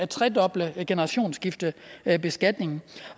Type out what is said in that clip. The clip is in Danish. tredoble generationsskiftebeskatningen